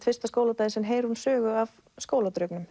fyrsta skóladaginn sinn heyrir hún sögu af